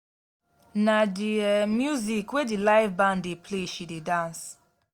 na di um music wey di live band dey play she dey dance.